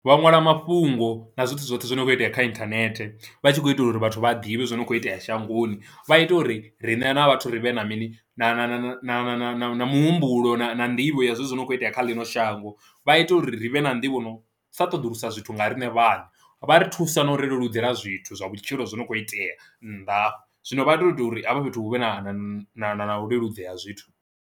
Vha ṅwala mafhungo na zwoṱhe zwoṱhe zwo no kho itea kha internet vha tshi khou itela uri vhathu vha a ḓivhe zwori hu kho itea shangoni vha ita uri riṋe sa vhathu ri vhe na mini na na na na muhumbulo na nḓivho ya zwezwi hu kho itea kha ḽino shango. Vha ita uri ri vhe na nḓivho no sa ṱoḓulusa zwithu nga riṋe vhaṋe, vha ri thusa na u ri leludzela zwithu zwa vhutshilo zwi no khou itea nnḓa zwino vha to ita uri hafha fhethu hu vhe na na na na leludzea ha zwithu.